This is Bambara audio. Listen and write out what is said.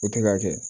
O tɛ ka kɛ